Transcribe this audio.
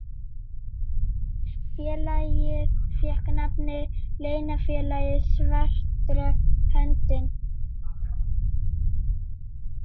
Félagið fékk nafnið Leynifélagið svarta höndin.